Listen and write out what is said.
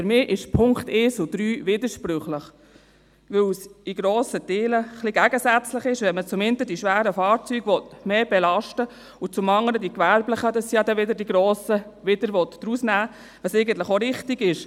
Für mich sind die Punkte 1 und 3 widersprüchlich, weil es in grossen Teilen ein wenig gegensätzlich ist, wenn man zum einen die schweren Fahrzeuge mehr belasten und zum anderen die gewerblichen – das sind ja dann die grossen – wieder rausnehmen will, was eigentlich auch richtig ist.